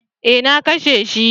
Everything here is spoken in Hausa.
Eh na kashe shi